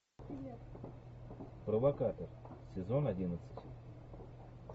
провокатор сезон одиннадцать